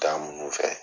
Taa mun fɛ